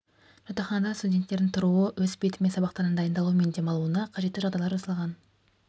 жатақханада студенттердің тұруы өз бетімен сабақтарына дайындалуы мен демалуына қажетті жағдайлар жасалған